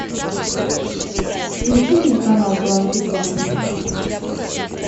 включи мне канал дважды два